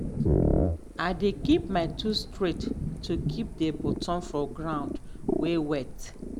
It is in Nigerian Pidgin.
i dey keep my tools straight to keep the bottom from ground way wet.